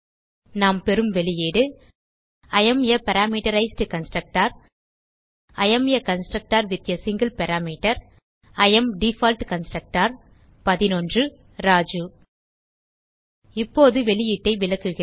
நாம் பெறும் வெளியீடு I am uh parameterized constructor I am uh constructor with uh single parameter I am default constructor Raju இப்போது வெளியீட்டை விளக்குகிறேன்